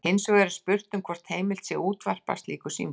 Hins vegar er spurt um hvort heimilt sé að útvarpa slíku símtali.